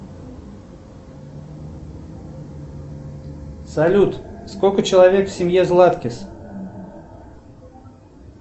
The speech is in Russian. салют сколько человек в семье златкис